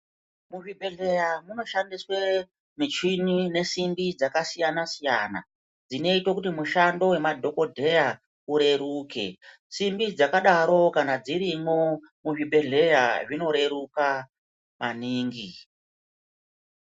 Kuzvibhedhleya kunoshandiswa michini nesimbi dzakasiyana siyana dzinoite kuti mishando yemadhokodheya ureruke simbi dzakadaro kana dzirimwo muzvibhedhleya zvinoreruka maningi.